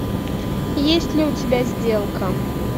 есть ли у тебя сделка